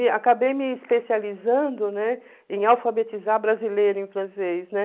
E acabei me especializando, né, em alfabetizar brasileiro em francês, né?